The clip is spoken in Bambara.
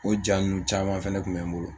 O ja ninnu caman fɛnɛ kun bɛ n bolo.